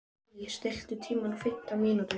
Lilley, stilltu tímamælinn á fimmtán mínútur.